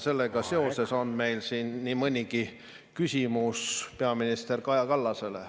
Sellega seoses on meil nii mõnigi küsimus peaminister Kaja Kallasele.